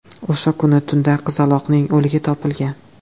O‘sha kuni tunda qizaloqning o‘ligi topilgan.